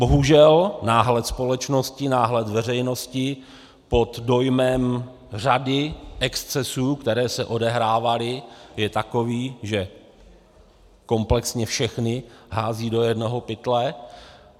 Bohužel náhled společnosti, náhled veřejnosti pod dojmem řady excesů, které se odehrávaly, je takový, že komplexně všechny hází do jednoho pytle.